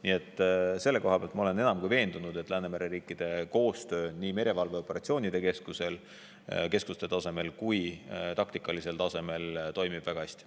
Nii et selles ma olen enam kui veendunud, et Läänemere riikide koostöö nii merevalveoperatsioonide keskuste tasemel kui ka taktikalisel tasemel toimib väga hästi.